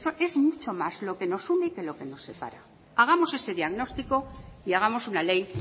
que es mucho más lo que nos une que lo que nos separa hagamos ese diagnóstico y hagamos una ley